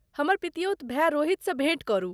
हमर पितियौत भाय रोहितसँ भेँट करू।